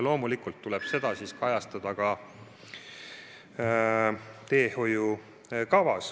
Loomulikult tuleb seda kajastada ka teehoiukavas.